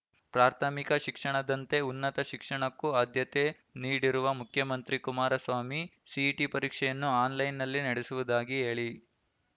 ಪ್ರಾಥಮಿಕ ಶಿಕ್ಷಣದಂತೆ ಉನ್ನತ ಶಿಕ್ಷಣಕ್ಕೂ ಆದ್ಯತೆ ನೀಡಿರುವ ಮುಖ್ಯಮಂತ್ರಿ ಕುಮಾರಸ್ವಾಮಿ ಸಿಇಟಿ ಪರೀಕ್ಷೆಯನ್ನು ಆನ್‌ಲೈನ್‌ನಲ್ಲೇ ನಡೆಸುವುದಾಗಿ ಹೇಳಿ